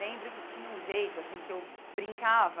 Lembro que tinha um jeito assim que eu brincava.